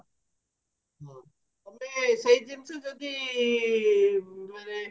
ସେଇ ଜିନିଷ ଯଦି ମାନେ